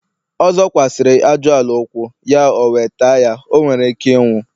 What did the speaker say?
ọ zọkwasiri aju-ala ukwu, ya owe taa ya. o were Ike inwu